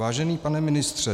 Vážený pane ministře.